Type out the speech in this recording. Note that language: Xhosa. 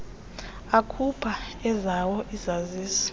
akhupha ezawo izazisi